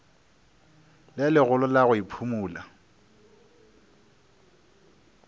le legolo la go iphumola